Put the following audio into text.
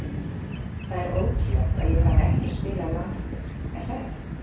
Það er ótrúlegt að ég hafi ekki spilað landsleik er það ekki?